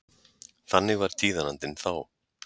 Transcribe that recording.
Þannig var tíðarandinn þá.